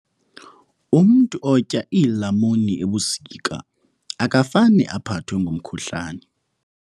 Umntu otya iilamuni ebusika akafane aphathwe ngumkhuhlane.